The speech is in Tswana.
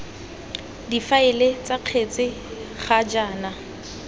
difaele ts kgetse ga jaana